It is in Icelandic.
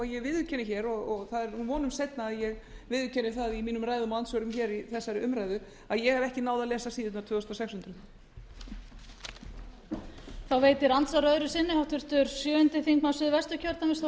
ég viðurkenni hér og það er vonum seinna að ég viðurkenni það í mínum ræðum og andsvörum hér í þessari umræðu að ég hef ekki náð að lesa síðurnar tvö þúsund sex hundruð